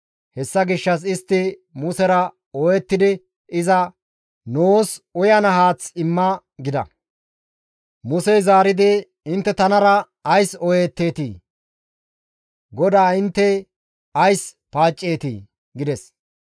Hessa gishshas istti Musera ooyettidi iza, «Nuus uyana haath imma» gida. Musey zaaridi, «Intte tanara ays ooyetteetii? GODAA intte ays paacceetii?» gides.